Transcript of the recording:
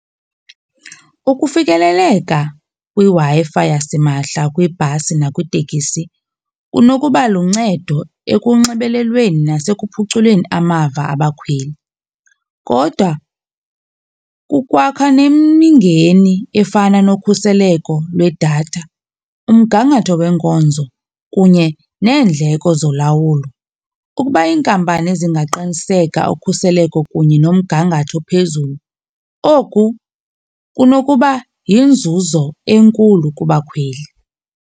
Ukufikeleleka kwiWi-Fi yasimahla kwibhasi nakwitekisi kunokuba luncedo ekunxibelelweni nasekuphuculeni amava abakhweli kodwa kukwakha nemingeni efana nokhuseleko lwedatha, umgangatho weenkonzo kunye neendleko zolawulo. Ukuba iinkampani zingaqiniseka ukhuseleko kunye nomgangatho ophezulu, oku kunokuba yinzuzo enkulu kubakhweli.